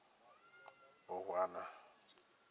bohwana